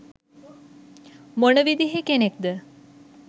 මොන විදිහේ කෙනෙක්ද?